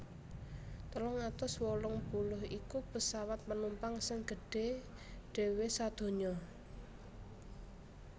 telung atus wolung puluh iku pesawat penumpang sing gedhé dhéwé sadonya